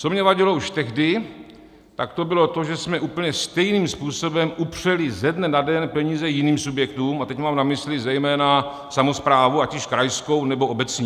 Co mně vadilo už tehdy, tak to bylo to, že jsme úplně stejným způsobem upřeli ze dne na den peníze jiným subjektům, a teď mám na mysli zejména samosprávu, ať již krajskou, nebo obecní.